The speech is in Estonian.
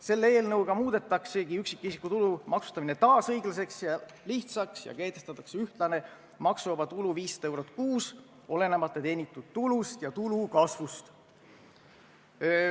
Selle eelnõuga muudetaksegi üksikisiku tulu maksustamine taas õiglaseks ja lihtsaks ning kehtestatakse ühtlane maksuvaba tulu 500 eurot kuus, olenemata teenitud tulust ja tulu kasvust.